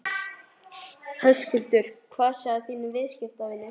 Höskuldur: Hvað segja þínir viðskiptavinir?